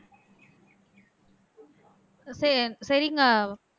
சே சரிங்க